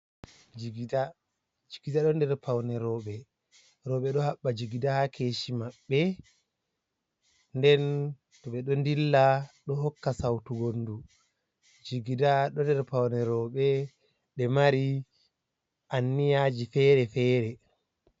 Jigida, jigida ɗo ha nder paune roɓɓe, roɓɓe ɗo haɓɓa jigida ha keshi maɓɓe, nden to ɓe ɗo dilla ɗo hokka sautu wondu, jigida ɗo nder paune roɓɓe ɓe mari anniyaji fere-fere.